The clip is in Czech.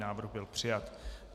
Návrh byl přijat.